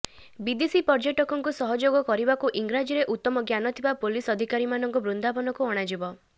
ବିଦେଶୀ ପର୍ଯ୍ୟଟକଙ୍କୁ ସହଯୋଗ କରିବାକୁ ଇଂରାଜୀରେ ଉତ୍ତମ ଜ୍ଞାନ ଥିବା ପୁଲିସ ଅଧିକାରୀମାନଙ୍କୁ ବୃନ୍ଦାବନକୁ ଅଣାଯିବ